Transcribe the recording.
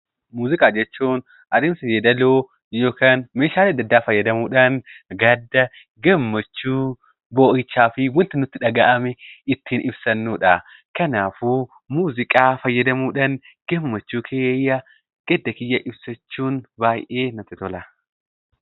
Muuziqaa jechuun adeemsa yeedaloo yookaan meeshaalee adda addaa fayyadamuu dhaan gadda, gammachuu, boo'ichaa fi wanta nutti dhaga'ame ittiin ibsannu dha. Kanaafuu muuziqaa fayyadamuu dhaan gsmmachuu kiyya, gadda kiyya ibsachuun baay'ee natti tola!